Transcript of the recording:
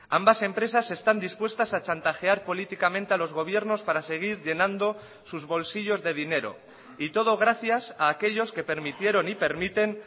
ambas empresas están dispuestas a chantajear políticamente a los gobiernos para seguir llenando sus bolsillos de dinero y todo gracias a aquellos que permitieron y permiten